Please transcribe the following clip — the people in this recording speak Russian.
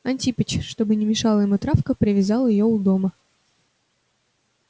антипыч чтобы не мешала ему травка привязал её у дома